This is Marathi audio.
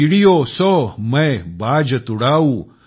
चिड़ियों सों मैं बाज तुड़ाऊँ